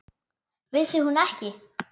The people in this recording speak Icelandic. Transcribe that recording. Vissi hún ekki?